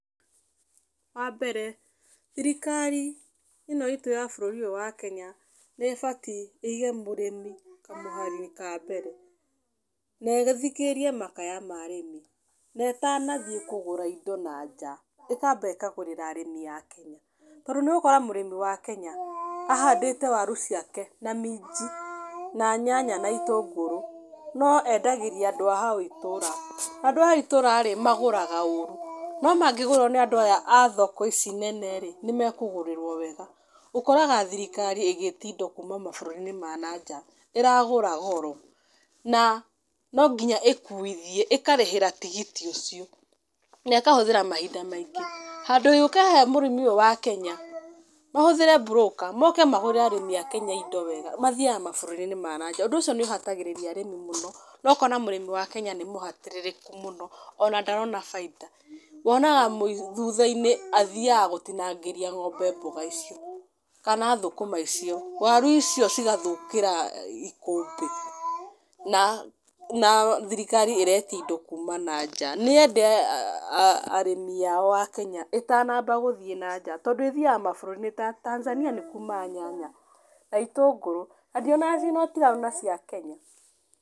Wa mbere, thirikari ĩno iitũ ya bũrũri ũyũ wa Kenya nĩ ĩbatiĩ ĩige mũrĩmi kamũhari-inĩ ka mbere. Na ĩthikĩrĩrie makaya ma arĩmi. Na ĩtanathiĩ kũgũra indo na nja, ĩkamba ĩkagũrĩra arĩmi aake. Tondũ nĩ ũgũkora mũrĩmi wa Kenya, ahandĩte waru ciake na minji, na nyanya na itũngũrũ, no endagĩrĩa andũ a hau itũũra. Andũ aya a itũũra rĩ, magũraga ũũru, no mangĩgũrwo nĩ andũ aya a thoko ici nene rĩ, nĩ mekũgũrĩrwo wega. Ũkoraga thirikari ĩgĩtiĩ indo kuuma mabũrũri-inĩ ma na nja, ĩragũra goro, na no nginya ĩkuithie, ĩkarĩhĩra tigiti ũcio, na ĩkahũthĩra mahinda maingĩ. Handũ yũke he mũrĩmi ũyũ wa Kenya, mahũthĩre mburũka, moke magũrĩre arĩmi a Kenya indo wega, mathiaga mabũrũri-inĩ ma na nja, ũndũ ũcio nĩ ũhatagĩrĩria arĩmi mũno, na ũkona mũrĩmi wa Kenya nĩ mũhatĩrĩrĩku mũno, ona ndarona bainda. Wonaga thutha-inĩ athiaga gũtinangĩria ng'ombe mboga icio, kana thũkũma icio. Waru icio cigathũkĩra ikũmbĩ, na na thirikari ĩreti indo kuuma na nja. Nĩ yende arĩmi ao a Kenya, ĩtanamba gũthiĩ na nja. Tondũ ĩthiaga mabũrũri ta Tanzania nĩ kumaga nyanya, na itũngũrũ, na ndionaga nginya ũtiganu na cia Kenya.